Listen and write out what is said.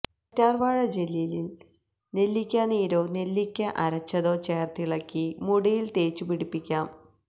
കറ്റാര് വാഴ ജെല്ലില് നെല്ലിക്കാനീരോ നെല്ലിക്ക അരച്ചതോ ചേര്ത്തിളക്കി മുടിയില് തേച്ചു പിടിപ്പിയ്ക്കാം